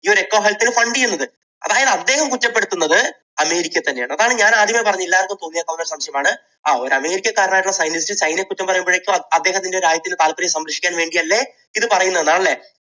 ഈയൊരു ecohealth നു fund ചെയ്യുന്നത്. അതായത് അദ്ദേഹം കുറ്റപ്പെടുത്തുന്നത് അമേരിക്കയെ തന്നെയാണ്. അതാണ് ഞാൻ ആദ്യമേ പറഞ്ഞത് എല്ലാവർക്കും തോന്നിയ സംശയമാണ്, ഒരു അമേരിക്കക്കാരൻ ആയിട്ടുള്ള scientist ചൈനയെ കുറ്റം പറയുമ്പോഴേക്കും അത് അദ്ദേഹത്തിൻറെ രാജ്യത്തിന് താല്പര്യം സംരക്ഷിക്കാൻ വേണ്ടി അല്ലേ ഇത് പറയുന്നത് എന്നാണ് അല്ലേ